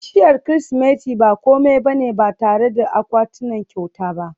bishiyar Kirsimeti ba kome ba ne ba tare da akwatunan kyauta ba